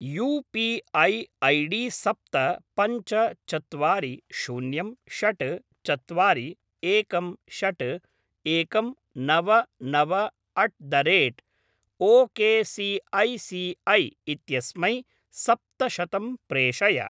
You P I ID सप्त पञ्च चत्वारि शून्यं षट् चत्वारि एकं षट् एकं नव नव अट् द रेट् ओकेसिऐसिऐ इत्यस्मै सप्तशतं प्रेषय।